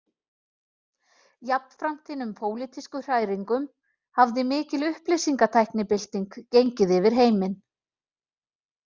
Jafnframt hinum pólitísku hræringum hafði mikil upplýsingatæknibylting gengið yfir heiminn